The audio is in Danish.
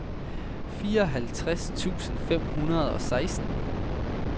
fireoghalvtreds tusind fem hundrede og seksten